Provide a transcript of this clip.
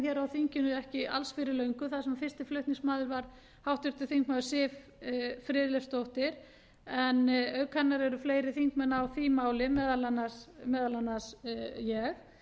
hér á engin ekki alls fyrir löngu þar sem fyrsti flutningsmaður var háttvirtur þingmaður siv friðleifsdóttir en auk hennar eru fleiri þingmenn á því máli meðal annars ég